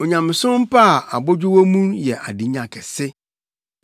Onyamesom pa a abodwo wɔ mu yɛ adenya kɛse.